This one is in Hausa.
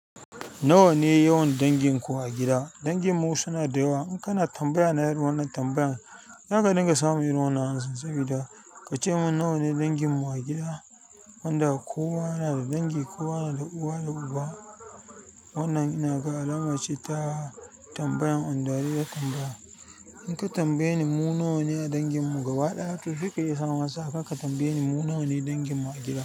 Nawa ne yawan dangin ku a gida? Dangin mu suna da yawa. In kana tambaya na irin wannan tambayan, za ka dinga samun irin wannan ansan sabida ka ce min nawane danginmu a gida, wanda kowa yana da dangi, kowa na da uwa da uba. Wannan ina ga alamace ta tambayan in da zan tambaya. In ka tambaye ni mu nawa ne a dangin mu gaba ɗaya, to sai ka iya samun amsa, amma ka tambaye ni mu nawa ne danginmu a gida.